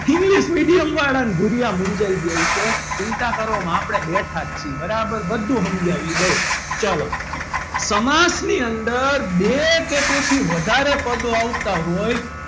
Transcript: english medium વાળા માં ભૂરીયા મૂજાઈ ગયા હશે ચિંતા ના કરો આપણે બેઠા છે બરાબર બધું સમજાવી દઉં ચાલો સમાસ ની અંદર બે કે તેથી વધારે પદ આવતા હોય.